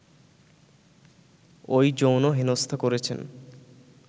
ওই যৌন হেনস্থা করেছেন